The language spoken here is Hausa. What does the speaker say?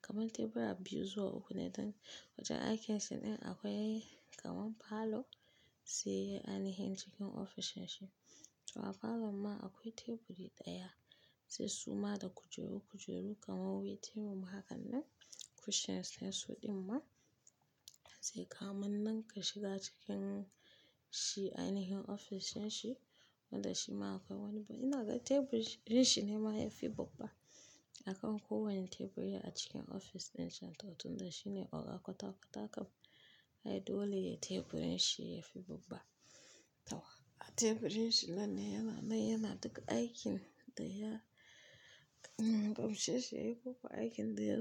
kaman tebura biyu su uku ne don wajen aikin shi ɗin akwai kaman parlour sai anihin cikin ofishin shi. To a parlour ma akwai teburi ɗaya sai suma da kujeru kujeru kaman waiting room hakan nan cushions sai su ɗin ma. Sai kaman nan ka shiga cikin shi anihin ofishin shi wanda shi ma akwai wani, ina ga teburin shi ne ma yafi babba a kan ko wani teburi a cikin ofis ɗin can to tun da shi ne oga kwata-kwata kam. Ai dole ya teburin shi yafi babba. Tawa a teburin shi nan ne yana mai yana ɗaga aikin da ya, hmmm aikin da ya gamshe shi yayi ko ko aikin da ya.